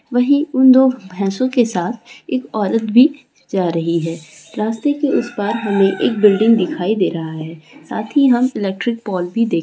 वही उन दो भैंसों के साथ एक औरत भी जा रही है रास्ते के उस पार हमें एक बिल्डिंग दिखाई डे रहा है साथ ही हम इलेक्ट्रिक पोल भी देख--